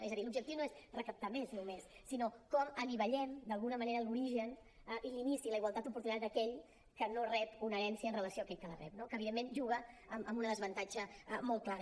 és a dir l’objectiu no és recaptar més només sinó com anivellem d’alguna manera l’origen i l’inici i la igualtat d’oportunitats d’aquell que no rep una herència amb relació a aquell que la rep no que evidentment juga amb un desavantatge molt clar